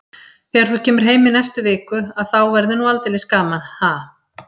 Þegar þú kemur heim í næstu viku að þá verður nú aldeilis gaman, ha?